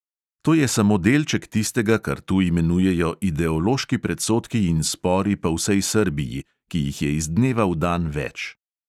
To je samo delček tistega, kar tu imenujejo ideološki predsodki in spori po vsej srbiji, ki jih je iz dneva v dan več.